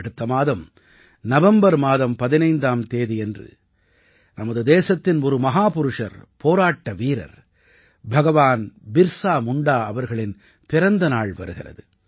அடுத்த மாதம் நவம்பர் மாதம் 15ஆம் தேதியன்று நமது தேசத்தின் ஒரு மஹாபுருஷர் போராட்ட வீரர் பகவான் பிர்ஸா முண்டா அவர்களின் பிறந்த நாள் வருகிறது